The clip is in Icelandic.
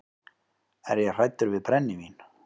Er ég hræddur við brennivín?